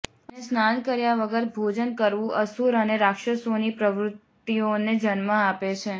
અને સ્નાન કર્યા વગર ભોજન કરવું અસુર અને રાક્ષસોની પ્રવૃતિઓને જન્મ આપે છે